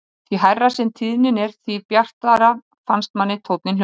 Því hærri sem tíðnin er því bjartari finnst manni tónninn hljóma.